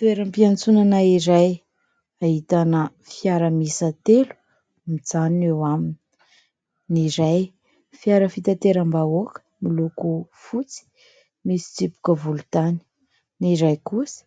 Toeram-piantsonana iray, ahitana fiara miisa telo mijanona eo aminy ; ny iray fiara fitanteram-bahoaka miloko fotsy misy tsipika volontany ; ny iray kosa